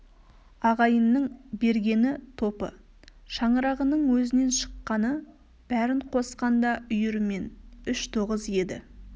ағайынның бергені топы шаңырағының өзінен шыққаны бәрін қосқанда үйірімен үш тоғыз еді